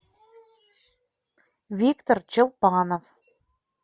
виктор челпанов